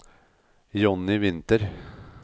Johnny Winther